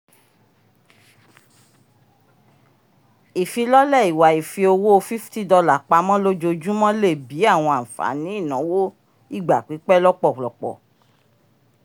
ifilọle ìwà ifi owó $50 pamọ lojoojumọ lè bí àwọn ànfàní ìnáwó ìgbà-pípẹ́ lọpọlọpọ